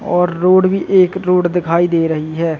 और रोड भी एक रोड दिखाई दे रही है।